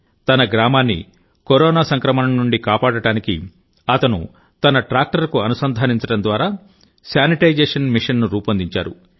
తన గ్రామాన్ని కరోనా సంక్రమణ నుండి కాపాడటానికి అతను తన ట్రాక్టర్కు అనుసంధానించడం ద్వారా శానిటైజేషన్ మెషీన్ను రూపొందించారు